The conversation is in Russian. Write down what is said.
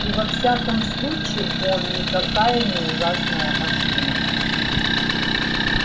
и во всяком случае он никакая не ужасная машина